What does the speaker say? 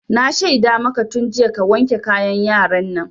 Na shaida maka tun jiya ka wanke kayan yaran nan!